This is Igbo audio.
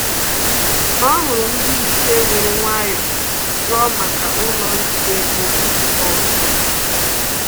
Ọ hụrụ ndị-iche were nwayọ jụọ maka ụlọ njide ego ọzọ